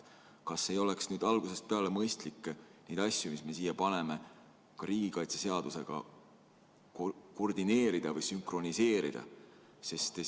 Kas ei oleks nüüd algusest peale mõistlik neid asju, mis me siia paneme, ka riigikaitseseadusega koordineerida või sünkroniseerida?